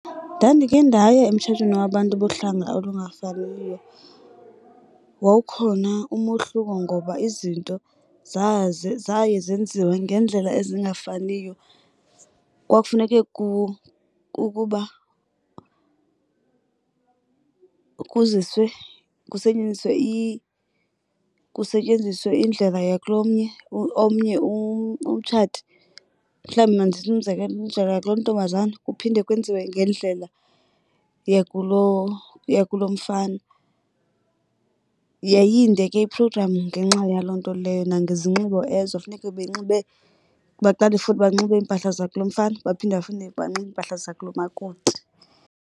Ndandikhe ndaya emtshatweni wabantu bohlanga olungafaniyo. Wawukhona umohluko ngoba izinto zaye zaye zenziwe ngeendlela ezingafaniyo. Kwakufuneke kukuba kuziswe kusetyenziswe kusetyenziswe indlela yakulomnye omnye umtshati. Mhlawumbi mandenze umzekelo umzekelo kulontombazana kuphinde kwenziwe ngendlela yakulo yakulomfana. Yayinde ke iprogramu ngenxa yaloo nto leyo nangezinxibo ezo funeke benxibe baqale futhi banxibe iimpahla zakulomfana baphinde bafuneke banxibe iimpahla zakulomakoti.